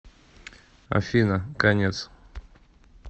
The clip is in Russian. афина конец